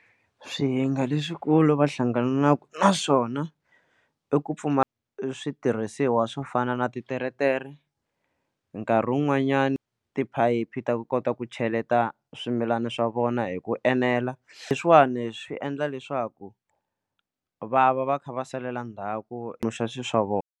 Swihinga leswikulu va hlanganaka naswona i ku pfumala switirhisiwa swo fana na titeretere nkarhi wun'wanyani ti phayiphi ta ku kota ku cheleta swimilana swa vona hi ku enela leswiwani swi endla leswaku va va va kha va salela ndzhaku loxo swa vona.